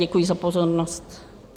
Děkuji za pozornost.